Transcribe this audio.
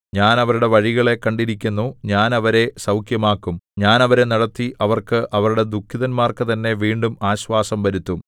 ഞാൻ അവരുടെ വഴികളെ കണ്ടിരിക്കുന്നു ഞാൻ അവരെ സൗഖ്യമാക്കും ഞാൻ അവരെ നടത്തി അവർക്ക് അവരുടെ ദുഃഖിതന്മാർക്കു തന്നെ വീണ്ടും ആശ്വാസം വരുത്തും